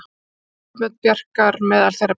Tvö myndbönd Bjarkar meðal þeirra bestu